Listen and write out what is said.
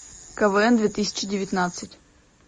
квн две тысячи девятнадцать